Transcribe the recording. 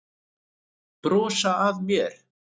Brosa að mér!